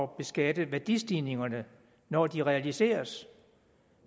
beskatte værdistigningerne når de realiseres